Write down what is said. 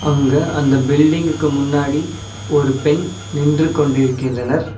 அங்க அந்த பில்டிங்க்கு முன்னாடி ஒரு பெண் நின்று கொண்டிருக்கின்றனர்.